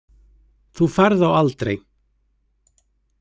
Þú færð þá aldrei.